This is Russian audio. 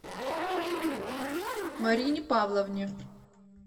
марине павловне